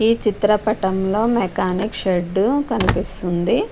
ఈ చిత్ర పటం లొ మేకానిక్ షెడ్ కనిపిస్తుంది.